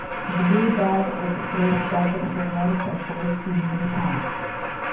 blue Dart Express चा customer support email सांग